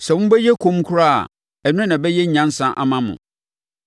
Sɛ mobɛyɛ komm koraa a ɛno na ɛbɛyɛ nyansa ama mo!